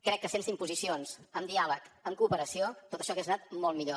crec que sense imposicions amb diàleg amb cooperació tot això hagués anat molt millor